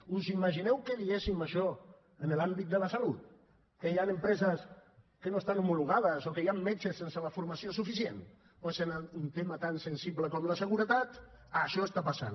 us imagineu que diguéssim això en l’àmbit de la salut que hi han empreses que no estan homologades o que hi han metges sense la formació suficient doncs en un tema tan sensible com la seguretat això està passant